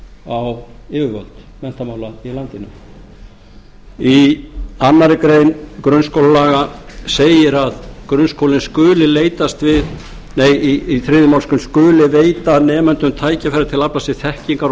á yfirvöld menntamála í landinu í þriðju málsgrein grunnskólalaga segir að grunnskólinn skuli veita nemendum tækifæri til að afla sér þekkingar og